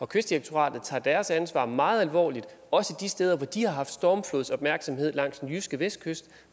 kystdirektoratet tager sit ansvar meget alvorligt også de steder hvor de har haft stormflodsopmærksomhed langs den jyske vestkyst